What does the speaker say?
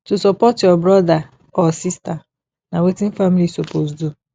to support your brotha or sista na wetin family suppose do